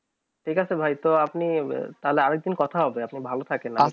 ঠিক আছে তো আপনি তালে আরও এক দিন কথা হবে আপনি ভালো থাকেন